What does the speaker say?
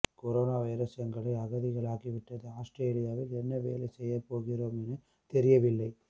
corona virus எங்களை அகதிகளாக்கிவிட்டது ஆஸ்திரேலியாவில் என்ன வேலை செய்யப்போகிறோம் என தெரியவில்லை